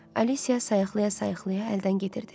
Alisya sayıqlaya-sayıqlaya əldən gedirdi.